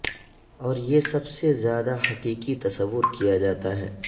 اور یہ سب سے زیادہ حقیقی تصور کیا جاتا ہے